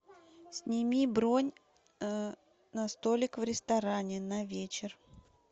сними бронь на столик в ресторане на вечер